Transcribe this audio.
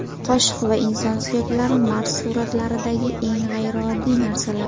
Qoshiq va inson suyaklari Mars suratlaridagi eng g‘ayrioddiy narsalar .